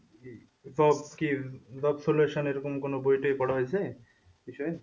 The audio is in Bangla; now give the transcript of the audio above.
job এরকম কোনো বইটই পড়া হয়েছে?